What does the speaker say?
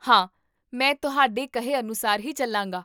ਹਾਂ, ਮੈਂ ਤੁਹਾਡੇ ਕਹੇ ਅਨੁਸਾਰ ਹੀ ਚੱਲਾਂਗਾ